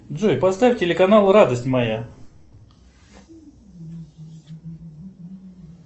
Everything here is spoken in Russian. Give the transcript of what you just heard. джой поставь телеканал радость моя